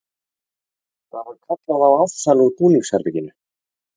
Það var kallað á Ársæl úr búningsherberginu.